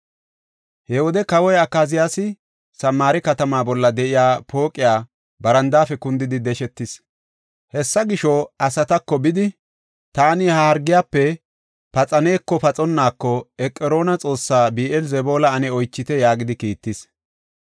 He wode kawoy Akaziyaasi Samaare katama bolla de7iya pooqiya barandaafe kundidi deshetis. Hessa gisho, asatako, “Bidi, taani ha hargiyafe paxaneko paxonnaako Eqroona xoossaa Bi7eel-Zebuula ane oychite” yaagidi kiittis.